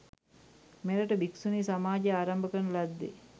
මෙරට භික්‍ෂුණී සමාජය ආරම්භ කරන ලද්දේ